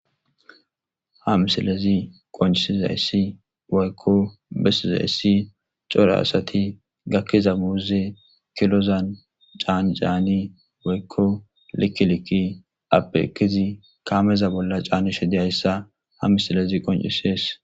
ha misilezi qoncesi za yssi boyekko besizayssi cora asati gakkiza muuze kilozan caancaani boyekko likiliki appeekizi kaameza bolla caanishe deayssa ha misilezi qoncisees